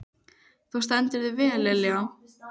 Þú stendur þig vel, Lilja!